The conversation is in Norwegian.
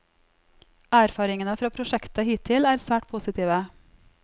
Erfaringene fra prosjektet hittil er svært positive.